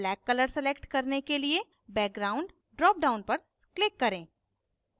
black color select करने के लिए background dropdown पर click करें